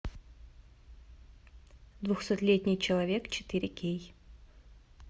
двухсотлетний человек четыре кей